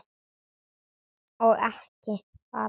Og ekki fara út.